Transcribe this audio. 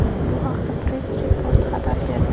Bu haqda Press Report xabar berdi .